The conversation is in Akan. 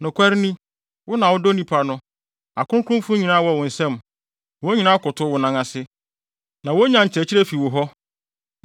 Nokware ni, wo na wodɔ nnipa no, akronkronfo nyinaa wɔ wo nsam. Wɔn nyinaa kotow wo nan ase, na wonya nkyerɛkyerɛ fi wo hɔ,